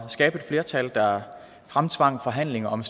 skabe et flertal der fremtvang forhandlinger om